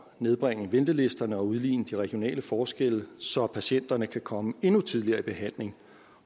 nedbringe ventelisterne og udligne de regionale forskelle så patienterne kan komme endnu tidligere i behandling